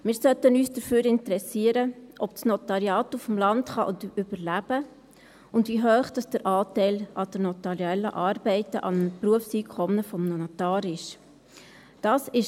Wir sollten uns dafür interessieren, ob das Notariat auf dem Land überleben kann und wie hoch der Anteil der notariellen Arbeiten am Berufseinkommen eines Notars ist.